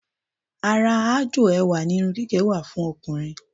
Ara aájò ẹwà ni irun gígẹ̀ wà fún ọkùnrin